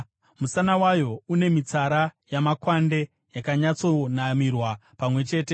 Musana wayo une mitsara yamakwande yakanyatsonamirwa pamwe chete;